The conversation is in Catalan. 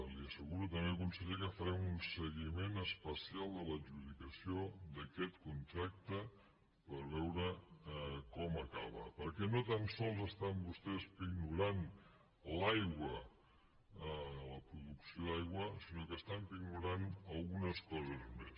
li asseguro també conseller que farem un seguiment especial de l’adjudicació d’aquest contracte per veure com acaba perquè no tan sols estan vostès pignorant l’aigua la producció d’aigua sinó que estan pignorant algunes coses més